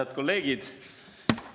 Head kolleegid!